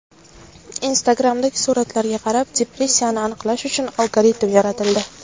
Instagram’dagi suratlarga qarab depressiyani aniqlash uchun algoritm yaratildi.